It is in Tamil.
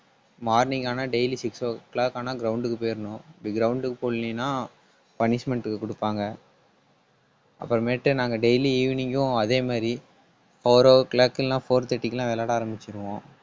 morning ஆனா daily six o'clock ஆனா ground க்கு போயிரணும். அப்படி ground க்கு போகலைன்னா punishment க்கு கொடுப்பாங்க. அப்புறமேட்டு நாங்க daily evening ம் அதே மாதிரி four o'clock எல்லாம் four thirty க்கு எல்லாம் விளையாட ஆரம்பிச்சுருவோம்